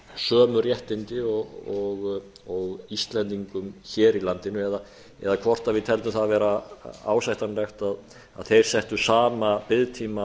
sömu réttindi og íslendingum hér í landinu eða hvort við teldum það vera ásættanlegt að þeir settu sama biðtíma